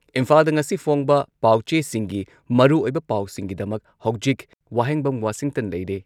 ꯏꯝꯐꯥꯥꯜꯗ ꯉꯁꯤ ꯐꯣꯡꯕ ꯄꯥꯎꯆꯦꯁꯤꯡꯒꯤ ꯃꯔꯨꯑꯣꯏꯕ ꯄꯥꯎꯁꯤꯡꯒꯤꯗꯃꯛ ꯍꯧꯖꯤꯛ ꯋꯥꯍꯦꯡꯕꯝ ꯋꯥꯁꯤꯡꯇꯟ ꯂꯩꯔꯦ